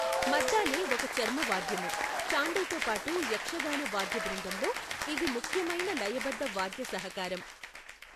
మద్దాలే ఒక చర్మవాద్యము, చాండేతో పాటు యక్షగాన వాద్యబృందంలో ఇది ముఖ్యమైన లయబద్ధ వాద్యసహకారం.